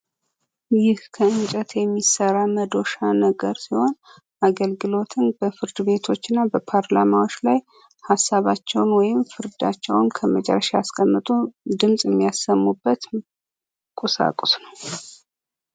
ይህ ከእንጨት የሚሰራ መዶሻ መሰል ሲሆን አገልግሎቱም በፍርድ ቤቶችና በፓርላማዎች ላይ ሀሳባቸውን ወይም ፍርዳቸውን ከመጨረሻ ሲያስቀምጡ ድምፅ የሚያሰሙበት ቁሳቁስ ነው።